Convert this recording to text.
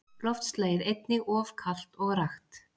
Loftslagið einnig of kalt og rakt.